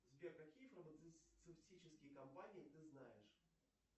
сбер какие фармацевтические компании ты знаешь